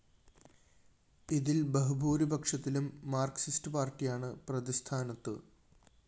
ഇതില്‍ ബഹുഭൂരിപക്ഷത്തിലും മാര്‍കിസ്റ്റ് പാര്‍ട്ടിയാണ് പ്രതിസ്ഥാനത്ത്